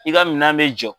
I ka minɛn bɛ jɔ